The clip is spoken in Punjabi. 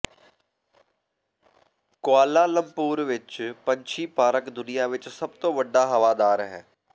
ਕੁਆਲਾਲੰਪੁਰ ਵਿਚ ਪੰਛੀ ਪਾਰਕ ਦੁਨੀਆ ਵਿਚ ਸਭ ਤੋਂ ਵੱਡਾ ਹਵਾਦਾਰ ਹੈ